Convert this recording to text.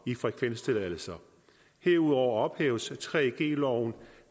i frekvenstilladelser herudover ophæves 3g loven